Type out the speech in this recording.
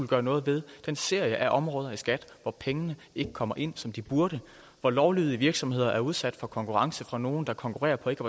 gøre noget ved den serie af områder i skat hvor pengene ikke kommer ind som de burde hvor lovlydige virksomheder er udsat for konkurrence fra nogle der konkurrerer på ikke